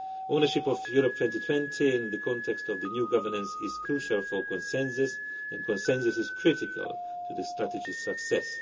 Ownership of Europe 2020 in the context of the new governance is crucial for consensus, and consensus is critical to the strategy's success.